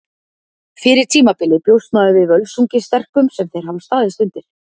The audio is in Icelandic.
Fyrir tímabilið bjóst maður við Völsungi sterkum sem þeir hafa staðist undir.